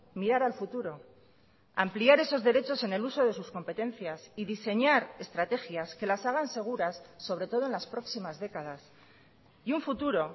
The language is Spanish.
mirar al futuro ampliar esos derechos en el uso de sus competencias y diseñar estrategias que las hagan seguras sobre todo en las próximas décadas y un futuro